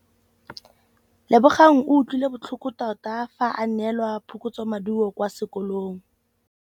Lebogang o utlwile botlhoko tota fa a neelwa phokotsômaduô kwa sekolong.